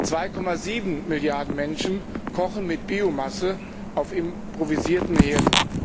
2,7 Milliarden Menschen kochen mit Biomasse auf improvisierten Herden.